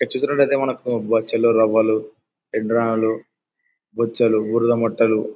ఇక్కడ చూసినట్టయితే మనకు బొచ్చలు రవ్వలు ఇంద్రాలు బొచ్చలుఊర్ల మట్టలు --